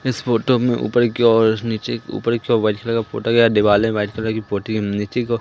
इस फोटो में ऊपर की ओर नीचे ऊपर की ओर व्हाइट कलर का फोटो गया है। दिवाले व्हाइट कलर की पोटी नीचे का--